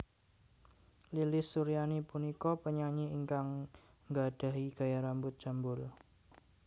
Lilis Suryani punika penyanyi ingkang nggadhahi gaya rambut jambul